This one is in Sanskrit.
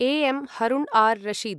A M Harun ar Rashid